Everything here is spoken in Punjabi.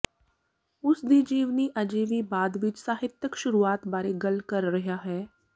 ਉਸ ਦੀ ਜੀਵਨੀ ਅਜੇ ਵੀ ਬਾਅਦ ਵਿੱਚ ਸਾਹਿਤਕ ਸ਼ੁਰੂਆਤ ਬਾਰੇ ਗੱਲ ਕਰ ਰਿਹਾ ਹੈ